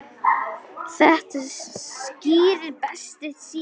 Þetta skýrist betur síðar.